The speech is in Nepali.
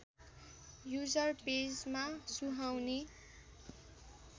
युजर पेजमा सुहाउने